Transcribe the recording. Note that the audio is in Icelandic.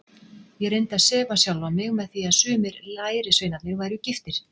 Ég reyndi að sefa sjálfan mig með því að sumir lærisveinarnir væru giftir.